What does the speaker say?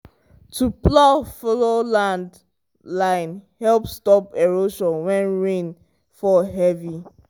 to plow follow land line help stop erosion when rain fall heavy.